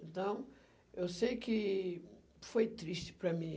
Então, eu sei que foi triste para mim.